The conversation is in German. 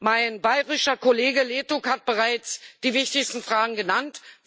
Mein bayrischer Kollege Ertug hat bereits die wichtigsten Fragen genannt.